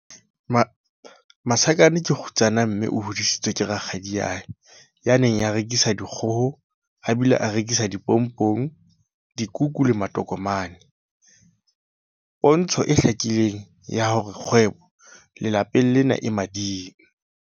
Masakane ke kgutsana mme o hodisitswe ke rakgadiae ya neng a rekisa dikgoho a bile a rekisa dipompong, dikuku le matokomane- pontsho e hlakileng ya hore kgwebo lapeng lena e mading.